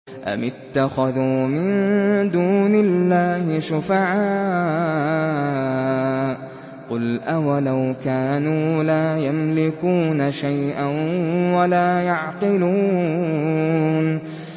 أَمِ اتَّخَذُوا مِن دُونِ اللَّهِ شُفَعَاءَ ۚ قُلْ أَوَلَوْ كَانُوا لَا يَمْلِكُونَ شَيْئًا وَلَا يَعْقِلُونَ